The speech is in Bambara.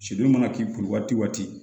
Sunjata k'i kun waati